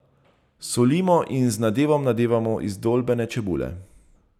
Solimo in z nadevom nadevamo izdolbene čebule.